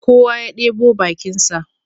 Kowa ya ɗebo bakinsa